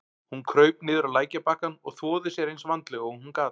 Hún kraup niður á lækjarbakkann og þvoði sér eins vandlega og hún gat.